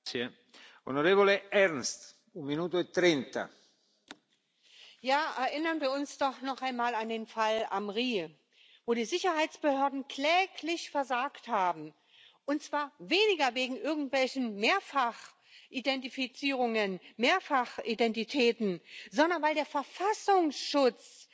Herr Präsident! Erinnern wir uns doch noch einmal an den Fall Amri, wo die Sicherheitsbehörden kläglich versagt haben, und zwar weniger wegen irgendwelcher Mehrfachidentifizierungen und Mehrfachidentitäten, sondern weil der Verfassungsschutz